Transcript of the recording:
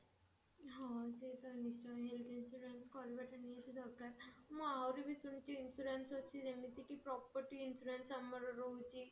ହଁ ସେଟା ନିଶ୍ଚୟ health insurance କରିବା ନିହାତି ଦରକାର ମୁଁ ଆହୁରି ବି ଶୁଣିଛି insurance ଅଛି ଯେମିତି କି property insurance ଆମର ରହୁଛି